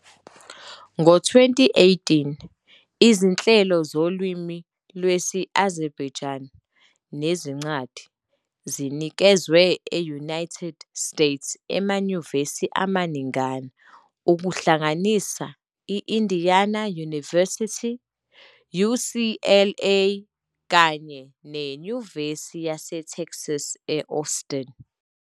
Ngo-2018, izinhlelo zolimi lwesi-Azerbaijani nezincwadi zinikezwa e-United States emanyuvesi amaningana, okuhlanganisa i- Indiana University, UCLA, kanye neNyuvesi yaseTexas e-Austin.